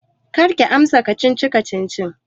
Karki amsa kacici-kacicin!